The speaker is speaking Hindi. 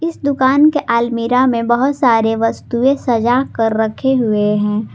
इस दुकान के अलमीरा में बहोत सारे वस्तुएं सजाकर रखें हुये है।